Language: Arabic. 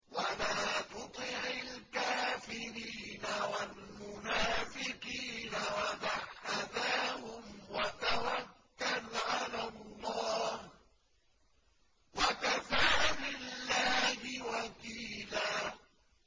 وَلَا تُطِعِ الْكَافِرِينَ وَالْمُنَافِقِينَ وَدَعْ أَذَاهُمْ وَتَوَكَّلْ عَلَى اللَّهِ ۚ وَكَفَىٰ بِاللَّهِ وَكِيلًا